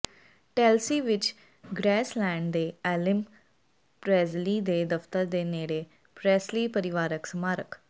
ਟੈਲਸੀ ਵਿਚ ਗ੍ਰੈਸਲੈਂਡ ਦੇ Elvis Presley ਦੇ ਦਫਤਰ ਦੇ ਨੇੜੇ ਪ੍ਰੈਸਲੀ ਪਰਿਵਾਰਕ ਸਮਾਰਕ